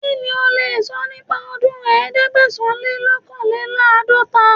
Kí ni o lè sọ nípa ọdún ẹ̀ẹ́dẹ́gbẹ̀sán-le-lọ́kànléláàdọ́ta?